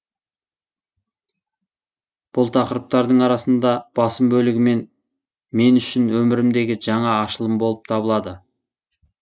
бұл тақырыптардың арасында басым бөлігі мен үшін өмірімдегі жаңа ашылым болып табылады